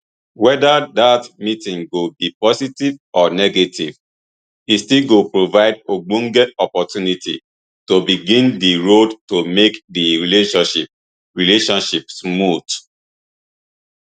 whether dat meeting go be positive or negative e still go provide ogbonge opportunity to begin di road to make di relationship relationship smooth